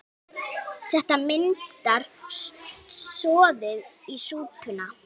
Þetta myndar soðið í súpuna.